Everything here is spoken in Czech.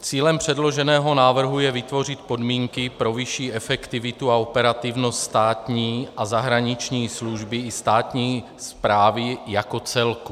Cílem předloženého návrhu je vytvořit podmínky pro vyšší efektivitu a operativnost státní a zahraniční služby i státní správy jako celku.